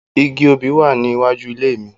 Igi obì wá ní iwájú ilé mi